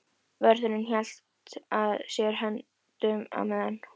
Vörðurinn hélt að sér höndum á meðan